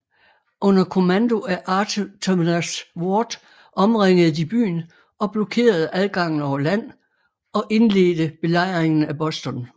Under kommando af Artemas Ward omringede de byen og blokerede adgangen over land og indledte Belejringen af Boston